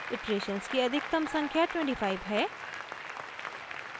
iterations की अधिकतम संख्या 25 है